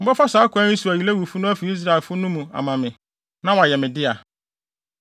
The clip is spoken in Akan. Mobɛfa saa kwan yi so ayi Lewifo no afi Israelfo no mu ama me, na wɔayɛ me dea.